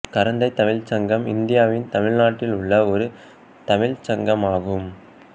கரந்தைத் தமிழ்ச் சங்கம் இந்தியாவின் தமிழ்நாட்டில் உள்ள ஒரு தமிழ்ச் சங்கமாகும்